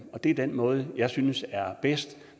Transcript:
det er den måde jeg synes er bedst